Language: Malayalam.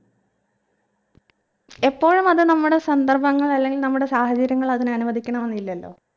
എപ്പോഴും അത് നമ്മുടെ സന്ദർഭങ്ങൾ അല്ലെങ്കിൽ നമ്മുടെ സാഹചര്യങ്ങൾ അതിന് അനുവദിക്കണമെന്നില്ലല്ലോ